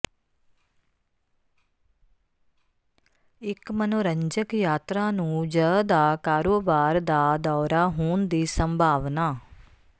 ਇੱਕ ਮਨੋਰੰਜਕ ਯਾਤਰਾ ਨੂੰ ਜ ਦਾ ਕਾਰੋਬਾਰ ਦਾ ਦੌਰਾ ਹੋਣ ਦੀ ਸੰਭਾਵਨਾ